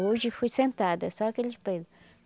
Hoje fui sentada, só aqueles peso.